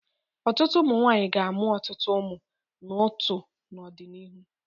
Ọtụtụ ụmụ nwaanyi ga-amụ ọtụtụ ụmụ n'ótuú n'ọdịnihu.